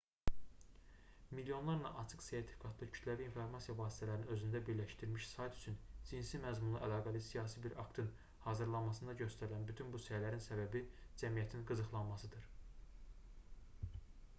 milyonlarla açıq-sertifikatlı kütləvi informasiya vasitələrini özündə birləşdirmiş sayt üçün cinsi məzmunla əlaqəli siyasi bir aktın hazırlanmasında göstərilən bütün bu səylərin səbəbi cəmiyyətin qıcıqlanmasıdır